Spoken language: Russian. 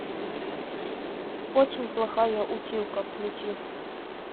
очень плохая училка включи